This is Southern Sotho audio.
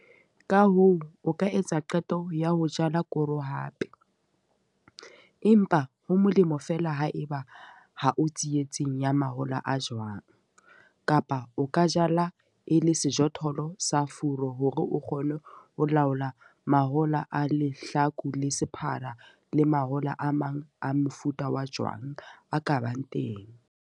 Ka hoo, o ka etsa qeto ya ho jala koro hape, empa ho molemo feela ha eba ha o tsietsing ya mahola a jwang, kapa o ka jala e le sejothollo sa furu hore o kgone ho laola mahola a lehlaku le sephara le mahola a mang a mofuta wa jwang a ka bang teng.